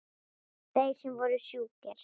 Þeir sem voru sjúkir.